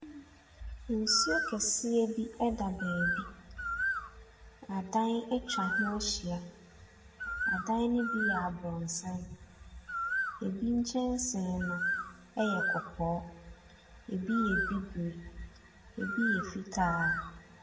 Nsuo kɛseɛ bi ɛda baabi, adan atwa ho ahyia. Adan ne bi yɛ aboronsan, ebi nkyɛnsee no ɛyɛ kɔkɔɔ, ebi yɛ abibire, ebi yɛ fitaa.